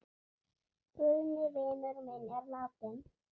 Guðni vinur minn er látinn.